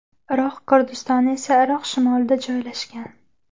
Iroq Kurdistoni esa Iroq shimolida joylashgan.